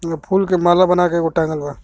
इहा फूल के माला बनाके एगो टांगल बा .